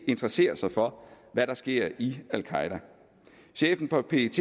interesserer sig for hvad der sker i al qaeda chefen for pet